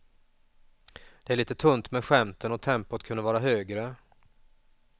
Det är lite tunt med skämten och tempot kunde varit högre.